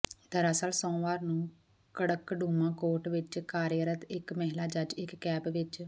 ਦਰਅਸਲ ਸੋਮਵਾਰ ਨੂੰ ਕੜਕੜਡੂਮਾ ਕੋਰਟ ਵਿੱਚ ਕਾਰਿਆਰਤ ਇੱਕ ਮਹਿਲਾ ਜੱਜ ਇੱਕ ਕੈਬ ਵਿੱਚ